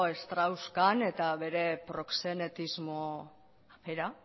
strauss kahn eta bere proxenetismo era